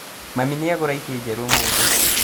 Mami nĩagũra itĩ njerũ ũmũthĩ